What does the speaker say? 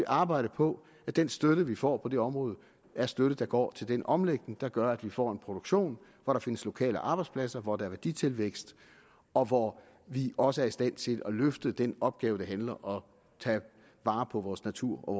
arbejde på at den støtte vi får på det område er støtte der går til den omlægning der gør at vi får en produktion hvor der findes lokale arbejdspladser hvor der er værditilvækst og hvor vi også er i stand til at løfte den opgave der handler om at tage vare på vores natur